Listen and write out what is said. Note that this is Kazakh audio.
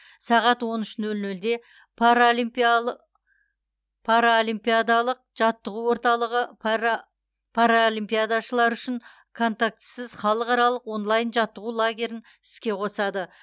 сағат он үш нөл нөлде паралимпиадалық жаттығу орталығы паралимпиадашылар үшін контактісіз халықаралық онлайн жаттығу лагерін іске қосады